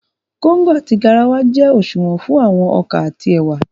Kóngò àti garawa jẹ́ òṣùwọ̀n fún àwọn ọkà àti ẹ̀wà